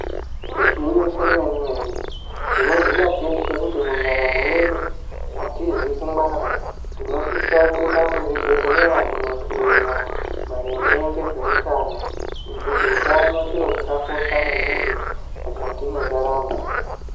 Igwinyiso remene mene tinoziya teshe kuti mundaramo yedu atizi kungwara. Tinosise kuenda kuzvibhedhleya kundohloiwa maringe ngezveutano, ngekuti utano chiro chakakosha maningi mukati mwendaramo.